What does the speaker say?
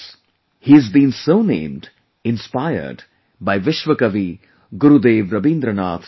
He has been so named, inspired by Vishwa Kavi Gurudev Rabindranath Tagore